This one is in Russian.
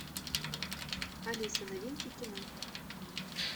алиса новинки кино